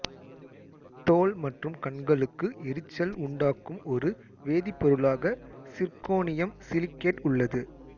தோல் மற்றும் கண்களுக்கு எரிச்சல் உண்டாக்கும் ஒரு வேதிப்பொருளாக சிர்க்கோனியம் சிலிகேட் உள்ளது